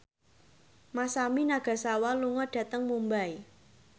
Masami Nagasawa lunga dhateng Mumbai